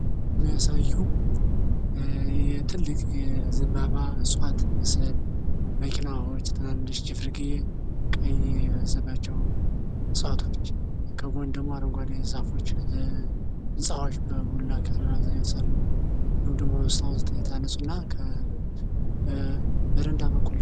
የሚያሳየው ትልቅ የዘምባባ እጽዋት ምስል ትንንሽ የሆነ ችፍርግየ ዛፎች ከጎን ደግሞ አረንጓዴ ዛፎች ህንጻዎች በብዙ ክፍል የተሰሩ እንድሁም ደግሞ የታነጹ እና በረንዳ በኩል።